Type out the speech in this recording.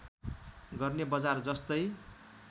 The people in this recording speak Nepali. गर्ने बजार जस्तै